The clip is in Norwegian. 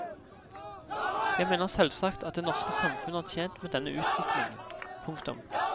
Jeg mener selvsagt at det norske samfunn er tjent med denne utviklingen. punktum